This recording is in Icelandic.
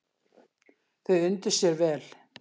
Þau undu sér vel.